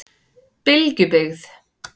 Bylgjubyggð